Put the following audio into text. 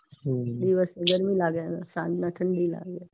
દિવસે ગરમી લાગે ને સાંજના ઠંડી લાગે.